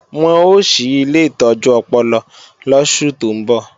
Wọ́n ó ṣí ilé ìtọ́jú ọpọlọ lóṣù tó ńbọ̀